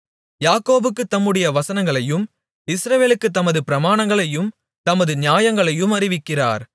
யாக்கோபுக்குத் தம்முடைய வசனங்களையும் இஸ்ரவேலுக்குத் தமது பிரமாணங்களையும் தமது நியாயங்களையும் அறிவிக்கிறார்